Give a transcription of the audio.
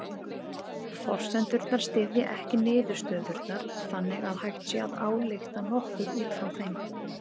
Forsendurnar styðja ekki niðurstöðurnar þannig að hægt sé að álykta nokkuð út frá þeim.